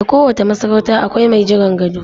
A kowace masarauta akwai mai jiran gado